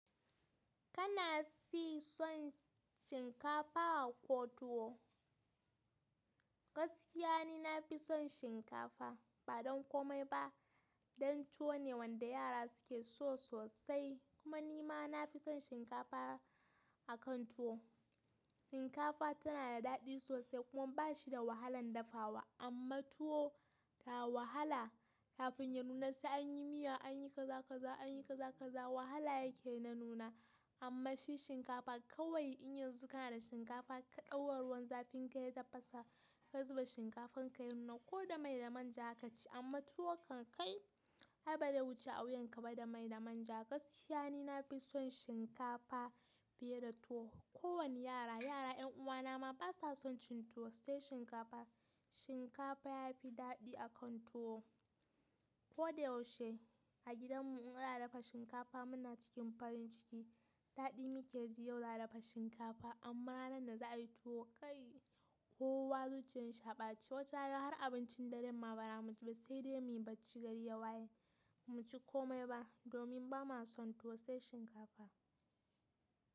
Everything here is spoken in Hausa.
Kana fi son shinkafa ko tuwo? Gaskiya ni nafi son shinkafa, ba don komai ba dan tuwo ne wanda yara suke so sosai, kuma nima nafi son shinkafa akan tuwo. Shinkafa tana da daɗi sosai kuma bashi da wahalan dafawa amma tuwo ta wahala. Kafin ya nuna sai anyi miya, anyi kaza kaza, anyi kaza kaza wahala yake na nuna. Amma shi shinkafa kawai in yanzu kana da shinkafa ka ɗaura ruwan zafin ka yi tafasa ka zuba shinkafan ka ya nuna ko da mai da manja zaka ci. Amma tuwo kan kai ai ba zai wuce a wuyan ka ba da mai da manja. Gaskiya ni nafi son shinkafa fiye da tuwo. Ko wani yara, yara yan uwana ma basa son cin tuwo sai shinkafa. Shinkafa yafi daɗi akan tuwo. Ko da yaushe a gidan mu in ana dafa shinkafa muna cikin farin ciki. Daɗi mu ke ji yau za a dafa shinkafa amma ranar da za a yi tuwo ƙai, kowa zuciyar shi a ɓace. Wata rana har abincin daren ma bara mu ci ba sai dai muyi bacci gari ya waye. Mu ci komai ba domin bama son tuwo sai shinkafa.